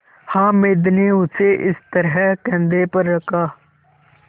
हामिद ने उसे इस तरह कंधे पर रखा